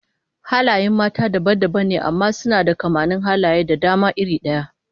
Halayen mata dabam dabam ne amma suna da kamannin halaye da dama iri daya